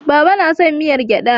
Baba na son miyar gyada.